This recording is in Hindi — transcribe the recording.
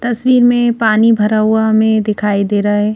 तस्वीर में पानी भरा हुआ हमें दिखाई दे रहा है।